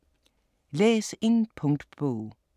Læs en punktbog